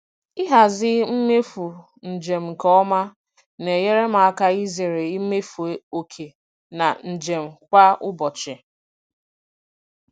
Ịhazi mmefu njem nke ọma na-enyere m aka izere imefu oke na njem kwa ụbọchị.